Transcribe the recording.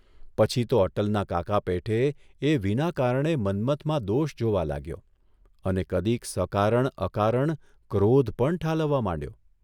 પછી તો અટલના કાકા પેઠે એ વિના કારણે મન્મથમાં દોષ જોવા લાગ્યો અને કદીક સકારણ અકારણ ક્રોધ પણ ઠાલવવા માંડ્યો.